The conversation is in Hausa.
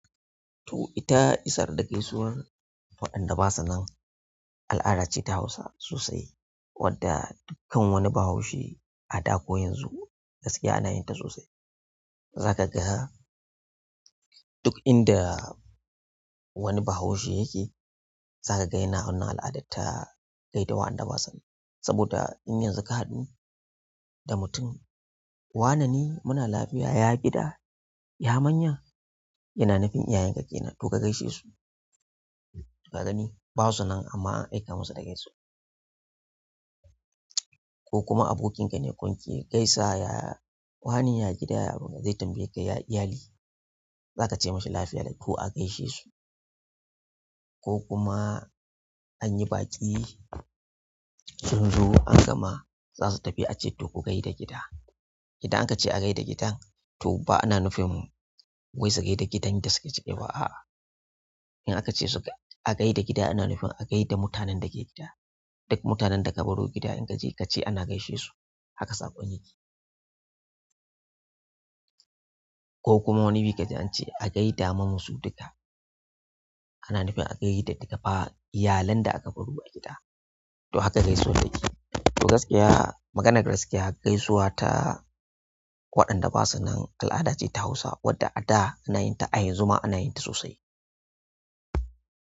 To ita isar da gaisuwar waɗanda ba su nan al'ada ce ta Hausawa sosai wadda dukkan wani Bahaushi a da ko yanzu gaskiya yana yin ta sosai. Zaka ga duk inda wani Bahaushi yake, zaka ga yana wannan al'ada ta gaidawa waɗanda ba su nan. Saboda in yanzu ka haɗu da mutum, wanine muna lafiya, ya gida ya manya, yana nufin iyayen ka ke nan to ka gaishe su. Ka gani ba su nan amma an aika masu da gaisuwar. Ko kuma abokinka ne kun ke gaisa, ya wane ya gida ya zai tambaye ka ya iyali, za ka ce mashi lafiya like to a gaishe su. Ko kuma an yi baƙi sun zo an gama za su tafi ace to ku gaida gida. Idan aka ce a gai da gidan to ba ana nufin wai su gai da gidan da suke ciki ba a'a. In aka ce su a gai da gida ana nufin a gai da mutanen da ke gida. Duk mutanen da aka baro gida in ka je ka ce ana gaishe su haka saƙon yake. Ko kuma wani bi ka je an ce a gai da muna su duka, ana nufin a gai da duka fa iyalanda aka baro a gida to haka gaisuwar take. To gaskiya maganar gaskiya gaisuwa ta waɗanda ba su nan al'ada ce ta Hausa wadda a da ana yin ta a yanzu ma ana yin ta sosai.